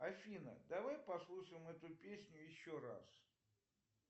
афина давай послушаем эту песню еще раз